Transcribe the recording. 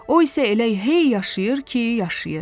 O isə elə hey yaşayır ki, yaşayır.